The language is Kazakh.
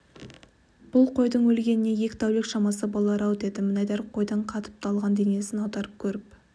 бұл қойдың өлгеніне екі тәулік шамасы болар-ау деді мінайдар қойдың қатып далған денесін аударып көріп